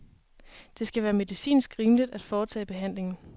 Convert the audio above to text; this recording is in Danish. Det skal være medicinsk rimeligt at foretage behandlingen.